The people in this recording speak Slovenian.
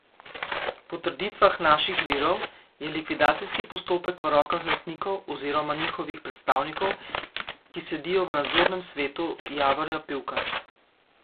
Po trditvah naših virov je likvidacijski postopek v rokah lastnikov oziroma njihovih predstavnikov, ki sedijo v nadzornem svetu Javorja Pivka.